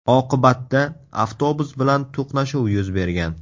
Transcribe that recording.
Oqibatda avtobus bilan to‘qnashuv yuz bergan.